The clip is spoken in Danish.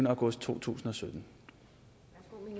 august to tusind og sytten